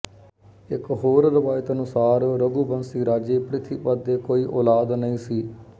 ਇੱਕ ਹੋਰ ਰਵਾਇਤ ਅਨੁਸਾਰ ਰਘੂਬੰਸੀ ਰਾਜੇ ਪ੍ਰਿਥੀਪਤ ਦੇ ਕੋਈ ਉਲਾਦ ਨਹੀਂ ਸੀ